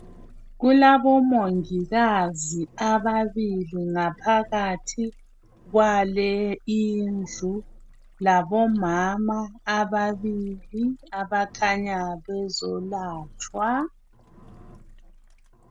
Kulabomongikazi ababili ngaphakathi kwale indlu labomama ababili abakhanya bezolatshwa.